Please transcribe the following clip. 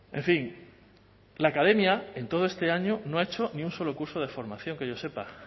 en fin la academia en todo este año no ha hecho ni un solo curso de formación que yo sepa